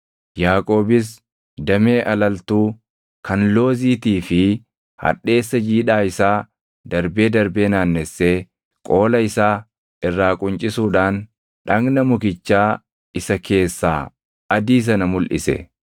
Yaaqoobis damee alaltuu, kan looziitii fi hadheessa jiidhaa isaa darbee darbee naannessee qoola isaa irraa quncisuudhaan dhagna mukichaa isa keessaa adii sana mulʼise.